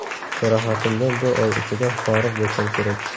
Jarohatimdan bir oy ichida forig‘ bo‘lsam kerak.